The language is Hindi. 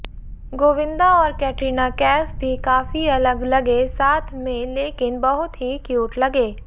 गोविंदा और कैटरीना कैफ भी काफी अलग लगे साथ में लेकिन बहुत ही क्यूट लगे